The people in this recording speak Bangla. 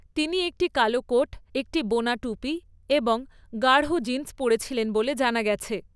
তিনি একটি কালো কোট, একটি বোনা টুপি এবং গাঢ় জিন্স পরেছিলেন বলে জানা গেছে।